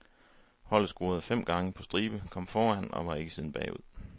Holdet scorede fem gange på stribe, kom foran, og var ikke siden bagud.